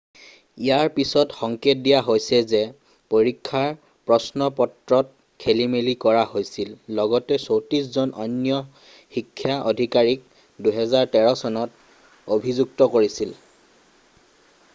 ইয়াৰ পিছত সংকেত দিয়া হৈছে যে পৰীক্ষাৰ প্ৰশ্নপত্ৰত খেলিমেলি কৰা হৈছিল লগতে 34 জন অন্য শিক্ষা অধিকাৰীক 2013 চনত অভিযুক্ত কৰিছিল